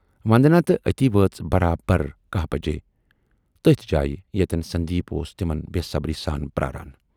وندنا تہٕ اَتی وٲژ برابر کاہ بجے تٔتھۍ جایہِ ییتٮ۪ن سندیپ اوس تِمن بے صبری سان پراران۔